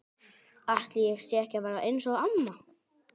Ætli ég sé ekki að verða eins og amma?